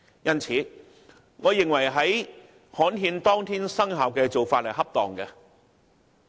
因此，我認為安排新法例於刊憲當天生效的做法恰當。